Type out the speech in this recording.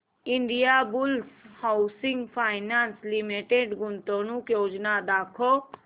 Indiabulls housing finance limited गुंतवणूक योजना दाखव